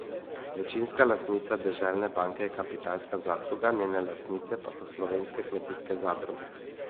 Večinska lastnica Deželne banke je Kapitalska zadruga, njene lastnice pa so slovenske kmetijske zadruge.